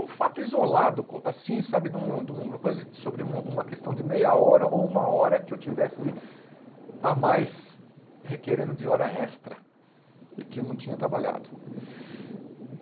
Um fato isolado, co assim, sabe de um de um coisa, sobre uma questão de meia hora ou uma hora que eu tivesse a mais requerendo de hora extra e que eu não tinha trabalhado.